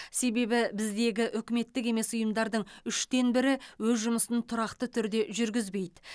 себебі біздегі үкіметтік емес ұйымдардың үштен бірі өз жұмысын тұрақты түрде жүргізбейді